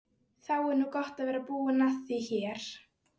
Það þarf þó meira til.